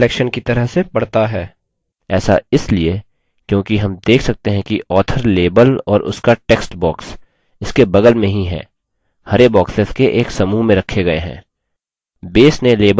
ऐसा इसलिए क्योंकि हम देख सकते है कि author label और उसका textbox इसके बगल में ही है हरे boxes के एक समूह में रखे गये हैं